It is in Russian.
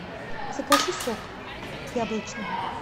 закажи сок яблочный